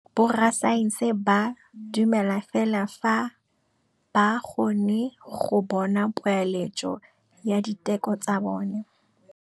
Borra saense ba dumela fela fa ba kgonne go bona poeletsô ya diteko tsa bone.